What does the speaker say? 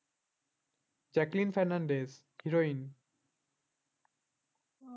Jacqueline Fernandez heroine